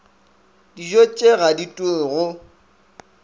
dijotše ga di ture go